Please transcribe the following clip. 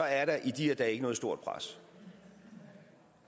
er der i de her dage ikke noget stort pres